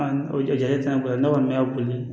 o jate tɛ na boli ne kɔni y'a boli